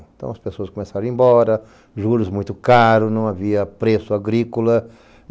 Então as pessoas começaram a ir embora, juros muito caros, não havia preço agrícola.